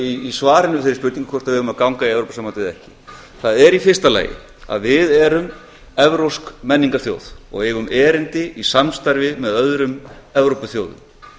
í svarinu við þeirri spurningu hvort við eigum að ganga í evrópusambandið eða ekki það er í fyrsta lagi að við erum evrópsk menningarþjóð og eigum erindi í samstarfi með öðrum evrópuþjóðum